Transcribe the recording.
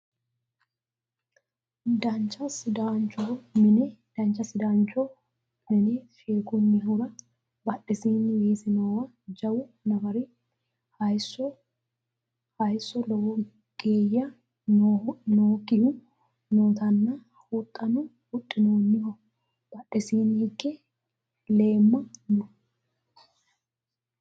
dancha sidaancho mine sheekkunnihura badhesiinni weese noowa jawu nafari hayeesso lowo geya nookkihu nootanna huxxano huxxinoonniho badhesiinni higge leemma no